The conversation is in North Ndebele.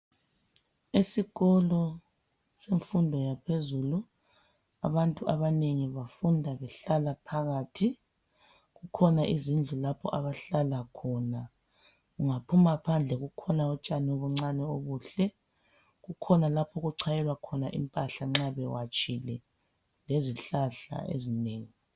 Esikolo semfundo yaphezulu, abantu abanengi bafunda behlala phakathi, kukhona izindlu lapho abahlala khona, ungaphuma phandle kukhona utshani obuncane obuhle, kukhona lapho okuchayelwa khona impahla nxa bewatshile, lezihlahla ezinengi.